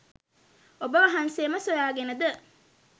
ඔබ වහන්සේම සොයාගෙන ද?